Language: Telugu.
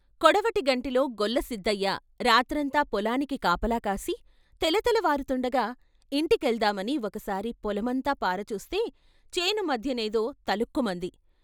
కొడవటిగంటిలో గొల్ల సిద్దయ్య రాత్రంతా పొలానికి కాపలా కాసి తెల తెలవారుతూండగా ఇంటికెల్దామని ఒక్కసారి పొలమంతా పారచూస్తే చేను మధ్య నేదో తళుక్కుమంది.